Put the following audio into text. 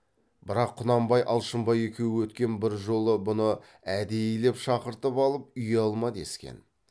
бірақ құнанбай алшынбай екеуі өткен бір жолы бұны әдейілеп шақыртып алып ұялма дескен